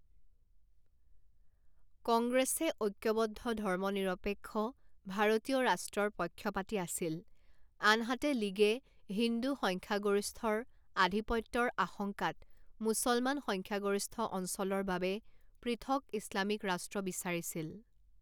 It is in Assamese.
কংগ্ৰেছে ঐক্যবদ্ধ ধৰ্মনিৰপেক্ষ ভাৰতীয় ৰাষ্ট্ৰৰ পক্ষপাতী আছিল, আনহাতে লীগে হিন্দু সংখ্যাগৰিষ্ঠৰ আধিপত্যৰ আশংকাত মুছলমান সংখ্যাগৰিষ্ঠ অঞ্চলৰ বাবে পৃথক ইছলামিক ৰাষ্ট্ৰ বিচাৰিছিল৷